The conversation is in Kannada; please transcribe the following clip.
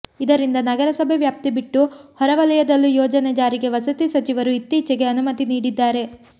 ಇದರಿಂದ ನಗರಸಭೆ ವ್ಯಾಪ್ತಿ ಬಿಟ್ಟು ಹೊರ ವಲಯದಲ್ಲೂ ಯೋಜನೆ ಜಾರಿಗೆ ವಸತಿ ಸಚಿವರು ಇತ್ತೀಚೆಗೆ ಅನುಮತಿ ನೀಡಿದ್ದಾರೆ